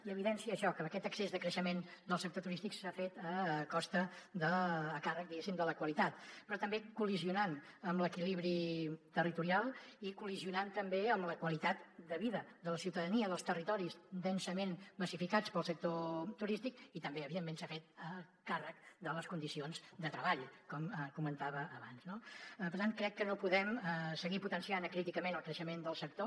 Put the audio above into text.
i evidencia això que aquest excés de creixement del sector turístic s’ha fet a costa a càrrec diguéssim de la qualitat però també col·lidint amb l’equilibri territorial i col·lidint també amb la qualitat de vida de la ciutadania dels territoris densament massificats pel sector turístic i també evidentment s’ha fet a càrrec de les condicions de treball com comentava abans no per tant crec que no podem seguir potenciant acríticament el creixement del sector